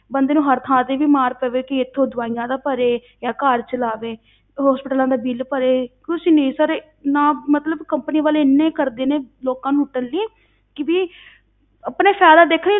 ਬੰਦੇ ਨੂੰ ਹਰ ਥਾਂ ਤੇ ਵੀ ਮਾਰ ਪਵੇ ਕਿ ਇੱਥੋਂ ਦਵਾਈਆਂ ਦਾ ਭਰੇ ਜਾਂ ਘਰ ਚਲਾਵੇ hospitals ਦਾ ਬਿੱਲ ਭਰੇ, ਕੁਛ ਨੀ sir ਨਾ ਮਤਲਬ companies ਵਾਲੇ ਇੰਨੇ ਕਰਦੇ ਨੇ ਲੋਕਾਂ ਨੂੰ ਲੁੱਟਣ ਲਈ ਕਿ ਵੀ ਆਪਣਾ ਫ਼ਾਇਦਾ ਦੇਖਣ ਲਈ